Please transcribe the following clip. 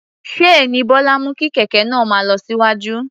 Ṣéènì Bọ́lá mú kí kẹ̀kẹ́ náà máa lọ síwájú.